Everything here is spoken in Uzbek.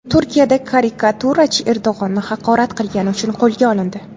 Turkiyada karikaturachi Erdo‘g‘onni haqorat qilgani uchun qo‘lga olindi.